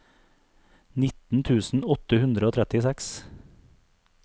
nitten tusen åtte hundre og trettiseks